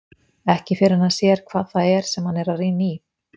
Ekki fyrr en hann sér hvað það er sem hann er að rýna í.